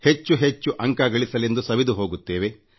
ಹೆಚ್ಚೆಚ್ಚು ಅಂಕ ಗಳಿಸಲೆಂದು ಸವೆದು ಹೋಗುತ್ತೇವೆ